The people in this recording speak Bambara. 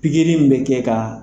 Pikiri in bɛ kɛ ka